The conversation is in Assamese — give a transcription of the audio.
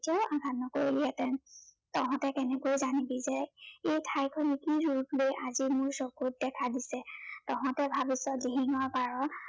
মোক আঘাত নকৰিলিহেঁতেন। তহঁতে কেনেকৈ জানিবি যে এই ঠাইখন কি ৰূপ লৈ আজি মোৰ চকুত দেখা দিছে। তহঁতে ভাবিছ দিহিঙৰ পাৰৰ